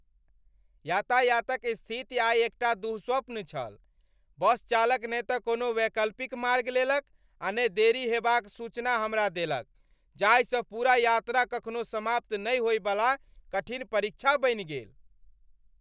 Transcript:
यातायातक स्थिति आइ एकटा दुःस्वप्न छल। बस चालक ने तँ कोनो वैकल्पिक मार्ग लेलक आ ने देरी हेबाक सूचना हमरा देलक जाहिसँ पूरा यात्रा कखनो समाप्त नहि होइवला कठिन परीक्षा बनि गेल।